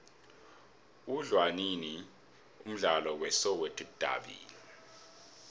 udlalwanini umdlalo we soweto davi